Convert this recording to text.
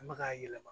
An bɛ ka yɛlɛma